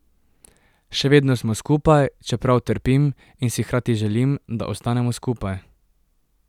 Še vedno smo skupaj, čeprav trpim, in si hkrati želim, da ostanemo skupaj.